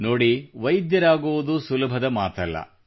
ನೋಡಿ ವೈದ್ಯರಾಗುವುದು ಸುಲಭದ ಮಾತಲ್ಲ